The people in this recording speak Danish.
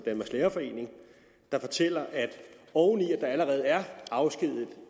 lærerforening der fortæller at oven i at der allerede er afskediget